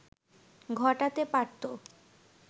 ঘটাতে পারতো